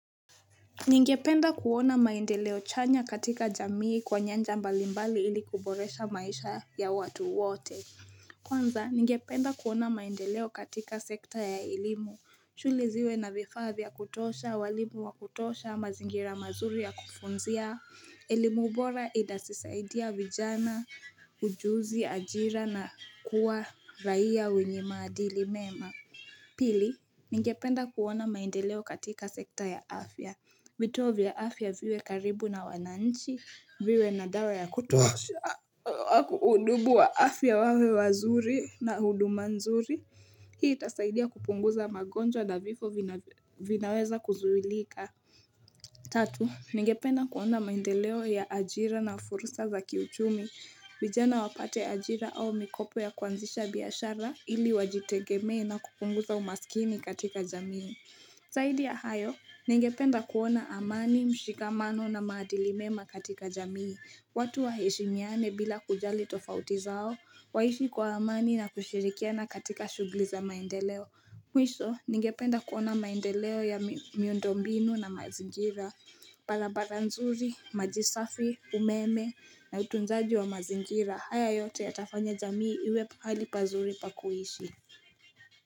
Ningependa kuona maendeleo chanya katika jamii kwa nyanja mbalimbali ili kuboresha maisha ya watu wote Kwanza ningependa kuona maendeleo katika sekta ya elimu shule ziwe na vifaa vya kutosha, walimu wa kutosha, mazingira mazuri ya kufunzia, elimubora inatusaidia vijana, ujuzi, ajira na kuwa raia wenye maadili mema Pili, ningependa kuona maendeleo katika sekta ya afya vituo vya afya viwe karibu na wananchi, viwe nadawa ya kutoa udubu wa afya wawe wazuri na hudu manzuri. Hii itasaidia kupunguza magonjwa na vifo vina vinaweza kuzuilika. Tatu, ningependa kuona maendeleo ya ajira na fursa za kiuchumi. Vijana wapate ajira au mikopo ya kuanzisha biyashara ili wajitegemee na kupunguza umasikini katika jamii. Zahidi ya hayo, ningependa kuona amani, mshikamano na maadilimema katika jamii. Watu wa heshimiane bila kujali tofauti zao, waishi kwa amani na kushirikiana katika shugli za maendeleo. Mwisho, ningependa kuona maendeleo ya mi miundombinu na mazingira. Barabara nzuri, majisafi, umeme na utunzaji wa mazingira, haya yote ya tafanya jamii iwe pahali pazuri pakuishi.